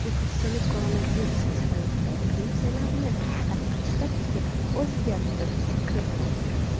O‘zbekistonda koronavirus sharoitida pensiyalarni tarqatish tartibiga o‘zgartirish kiritiladi.